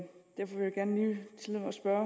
spørge